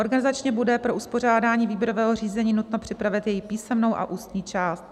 Organizačně bude pro uspořádání výběrového řízení nutno připravit jeho písemnou a ústní část.